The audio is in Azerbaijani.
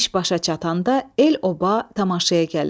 İş başa çatanda el-oba tamaşaya gəlir.